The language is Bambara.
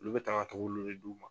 Olu bɛ ta ka kɛ olu le d'u ma.